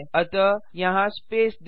अतः यहाँ स्पेस दें